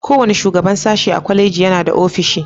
Kowane shugaban sashi a kwaleji yana da ofishi.